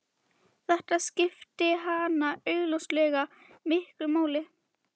Þetta skipti hana augljóslega miklu máli.